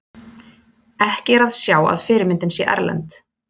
Ekki er að sjá að fyrirmyndin sé erlend.